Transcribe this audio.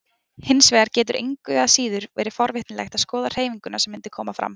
Hins vegar getur engu að síður verið forvitnilegt að skoða hreyfinguna sem mundi koma fram.